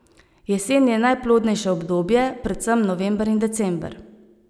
Jesen je najplodnejše obdobje, predvsem november in december.